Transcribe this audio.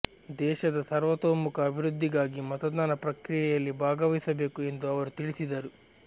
ದೇಶದ ಸರ್ವತೋಮುಖ ಅಭಿವೃದ್ಧಿಗಾಗಿ ಮತದಾನ ಪ್ರಕ್ರಿಯೆಯಲ್ಲಿ ಭಾಗವಹಿಸಬೇಕು ಎಂದು ಅವರು ತಿಳಿಸಿದರು